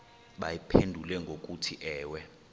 bayiphendule ngokuthi ewe